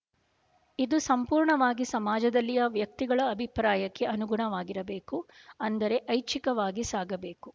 ಇದು ಸಂಪೂರ್ಣವಾಗಿ ಸಮಾಜದಲ್ಲಿಯ ವ್ಯಕ್ತಿಗಳ ಅಭಿಪ್ರಾಯಕ್ಕೆ ಅನುಗುಣವಾಗಿರಬೇಕು ಅಂದರೆ ಐಚ್ಛಿಕವಾಗಿ ಸಾಗಬೇಕು